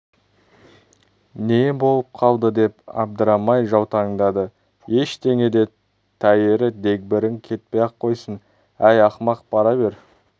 не болып қалды деп абдырай жаутаңдады ештеңе де тәйірі дегбірің кетпей-ақ қойсын әй ақымақ бара бер